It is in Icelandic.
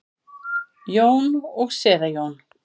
Jón og séra Jón